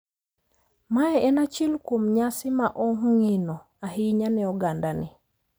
Mae en achiel kuom nyasi ma ongino ahinya ne oganda ni.